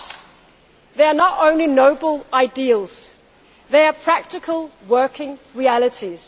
For us they are not only noble ideals they are practical working realities.